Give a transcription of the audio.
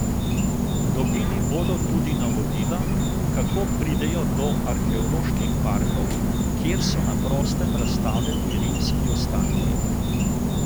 Dobili bodo tudi navodila, kako pridejo do arheoloških parkov, kjer so na prostem razstavljeni rimski ostanki.